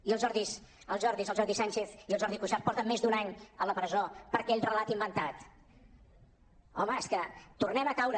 i els jordis el jordi sànchez i el jordi cuixart porten més d’un any a la presó per aquell relat inventat home és que tornem a caure